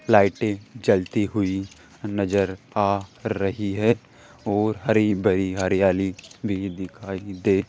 लाइटें जलती हुई नजर आ रही है और हरी भरी हरियाली भी दिखाई दे --